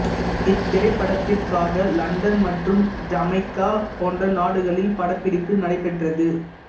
இத்திரைப்படத்திற்காக London மற்றும் Jamaica போன்ற நாடுகளில் படப்பிடிப்பு நடைபெற்றது